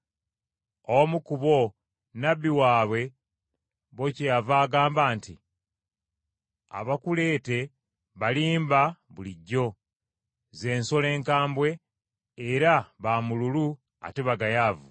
Omu ku bo, nnabbi waabwe bo kyeyava agamba nti, “Abakuleete balimba bulijjo, z’ensolo enkambwe, era ba mululu ate bagayaavu.”